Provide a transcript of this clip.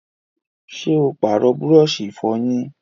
ṣé ó pàrọ̀ búrọ̀sì ìfọyín?